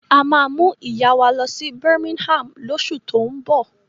A máa mú ìyá wa lọ sí Birmingham lóṣù tó ń bọ̀.